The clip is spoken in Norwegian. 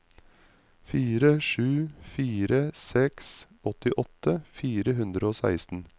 fire sju fire seks åttiåtte fire hundre og seksten